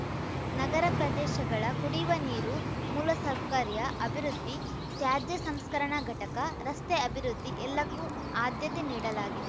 ನಗರ ಪ್ರದೇಶಗಳ ಕುಡಿಯುವ ನೀರು ಮೂಲಸಕೌಕರ್ಯ ಅಭಿವೃದ್ಧಿ ತ್ಯಾಜ್ಯ ಸಂಸ್ಕರಣಾ ಘಟಕ ರಸ್ತೆ ಅಭಿವೃದ್ಧಿ ಎಲ್ಲಕ್ಕೂ ಆದ್ಯತೆ ನೀಡಲಾಗಿದೆ